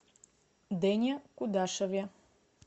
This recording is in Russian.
дэне кудашеве